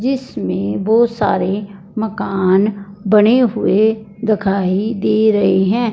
जिसमे बहोत सारे मकान बने हुए दिखाई दे रहे है।